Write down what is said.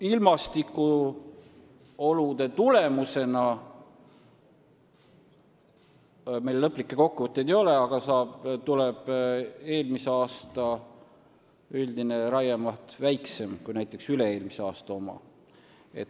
Ilmastikuolude tõttu – meil küll lõplikke kokkuvõtteid ei ole – tuleb eelmise aasta üldine raiemaht väiksem kui näiteks üle-eelmise aasta oma.